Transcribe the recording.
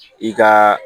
I ka